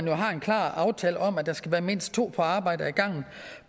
jo har en klar aftale om at der skal være mindst to på arbejde ad gangen